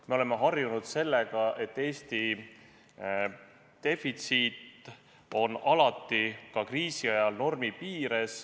Me oleme harjunud sellega, et Eesti defitsiit on alati, ka kriisiajal, normi piires.